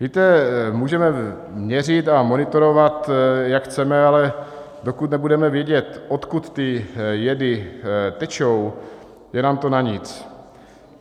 Víte, můžeme měřit a monitorovat, jak chceme, ale dokud nebudeme vědět, odkud ty jedy tečou, je nám to na nic.